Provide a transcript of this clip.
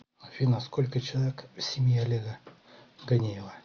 афина сколько человек в семье олега ганеева